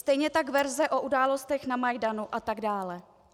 Stejně tak verze o událostech na Majdanu atd.